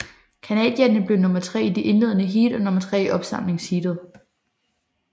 Canadierne blev nummer tre i det indledende heat og nummer tre i opsamlingsheatet